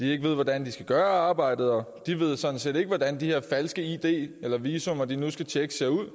ikke hvordan de skal gøre arbejdet og de ved sådan set ikke hvordan de her falske id eller visa de nu skal tjekke ser ud